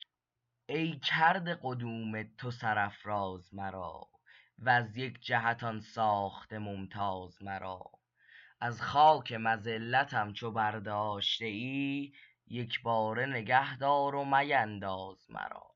ای کرده قدوم تو سرافراز مرا وز یک جهتان ساخته ممتاز مرا از خاک مذلتم چو برداشته ای یک باره نگهدار و مینداز مرا